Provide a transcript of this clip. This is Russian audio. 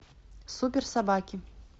супер собаки